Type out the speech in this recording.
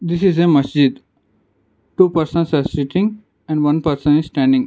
this is a masjid two persons are sitting and one person is standing.